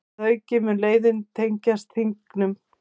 Að auki mun leiðin tengjast Þingum